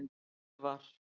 Örvar